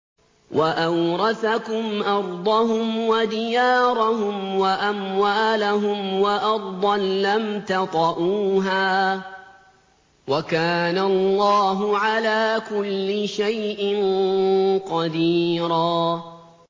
وَأَوْرَثَكُمْ أَرْضَهُمْ وَدِيَارَهُمْ وَأَمْوَالَهُمْ وَأَرْضًا لَّمْ تَطَئُوهَا ۚ وَكَانَ اللَّهُ عَلَىٰ كُلِّ شَيْءٍ قَدِيرًا